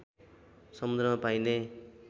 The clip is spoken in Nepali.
समुद्रमा पाइने